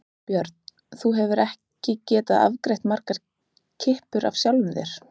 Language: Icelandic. Björn: Þú hefur ekki getað afgreitt margar kippur af sjálfum þér?